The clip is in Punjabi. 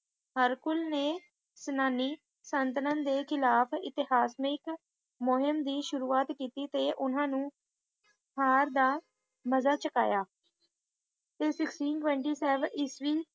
ਹਰਕੁਲ ਨੇ ਯੂਨਾਨੀ ਸਲਤਨਤ ਦੇ ਖਿਲਾਫ ਇਤਿਹਾਸਿਕ ਮੁਹੀਮ ਦੀ ਸ਼ੁਰੂਆਤ ਕੀਤੀ ਤੇ ਉਨ੍ਹਾਂ ਨੂੰ ਹਾਰ ਦਾ ਮਜ਼ਾ ਚਖਾਇਆ ਤੇ sixteen twenty seven ਇਸਵੀਂ